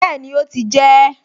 Bẹ́ẹ̀ni, ó ti jẹ ẹ́